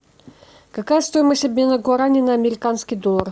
какая стоимость обмена гуарани на американский доллар